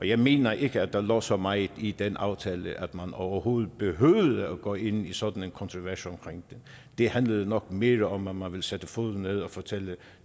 jeg mener ikke at der lå så meget i den aftale at man overhovedet behøvede at gå ind i sådan en kontrovers omkring det det handlede nok mere om at man ville sætte foden ned og fortælle